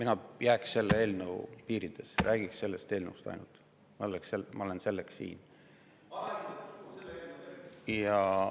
Ma jääksin selle eelnõu piiridesse ja räägiksin ainult sellest eelnõust, ma olen selleks siin.